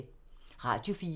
Radio 4